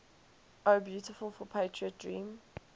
o beautiful for patriot dream